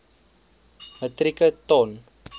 metrieke ton